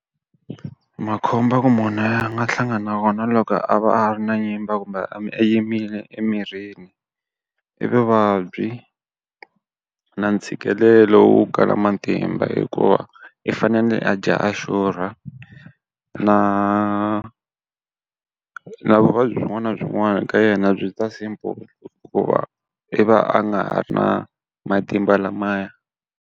Makhombo ya ku munhu a nga hlangana na kona loko a va ha ri na nyimba kumbe a nyimbile emirini. I vuvabyi na ntshikelelo wo kala matimba hikuva i fanele a dya a xurha, na na vuvabyi byin'wana ka yena byi ta simple hikuva i va a nga ha ri na matimba lamaya.